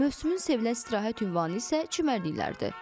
Mövsümün sevilən istirahət ünvanı isə çimərliklərdir.